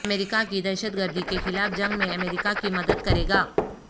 امریکہ کی دہشت گردی کے خلاف جنگ میں امریکہ کی مدد گرے گا